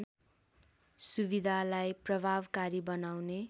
सुविधालाई प्रभावकारी बनाउने